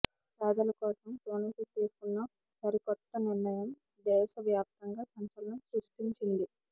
పేదల కోసం సోనూసూద్ తీసుకున్న సరికొత్త నిర్ణయం దేశ వ్యాప్తంగా సంచలనం సృష్టించింది